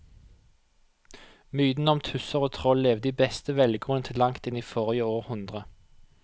Mytene om tusser og troll levde i beste velgående til langt inn i forrige århundre.